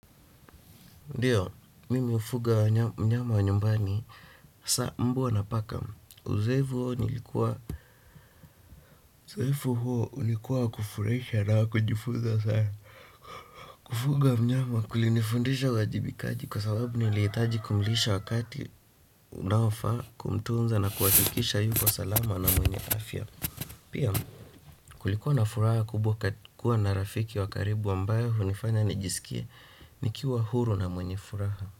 Ndiyo, mimi hufuga mnyama wa nyumbani, hasa mbwa na paka. Uzoefu huo ulikuwa wa kufuraisha nayo kujifunza saa. Kufuga mnyama kulinifundisha uwajibikaji kwa sababu niliitaji kumlisha wakati unaofaa kumtunza na kuhakikisha yuko salama na mwenye afya. Pia kulikuwa na furaha kubwa kuwa na rafiki wa karibu ambaye hunifanya nijisikie nikiwa huru na mwenye furaha.